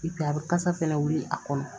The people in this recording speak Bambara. a bɛ kasa fɛnɛ wili a kɔnɔ